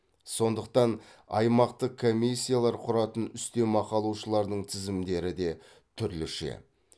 сондықтан аймақтық комиссиялар құратын үстемақы алушылардың тізімдері де түрліше